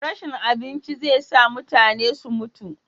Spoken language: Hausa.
rashin abinci zai sa mutane su mutu